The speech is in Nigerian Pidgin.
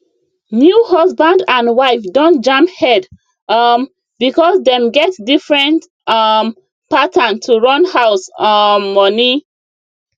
new husband and wife don jam head um because dem get different um pattern to run house um money